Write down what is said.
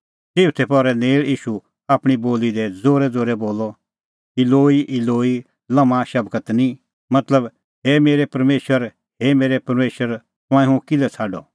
चिऊथै पहरै नेल़ ईशू आपणीं बोली दी ज़ोरैज़ोरै बोलअ इलोई इलोई लम्मा शबक्तनी मतलब हे मेरै परमेशर हे मेरै परमेशर तंऐं हुंह किल्है छ़ाडअ